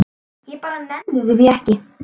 Ég bara nenni því ekki.